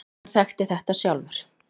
Hann þekkti þetta sjálfur.